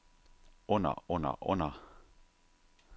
under under under